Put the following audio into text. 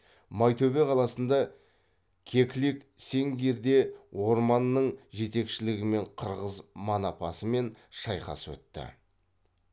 майтөбе қаласында кеклик сэнгирде орманның жетекшілігімен қырғыз манапасымен шайқас өтті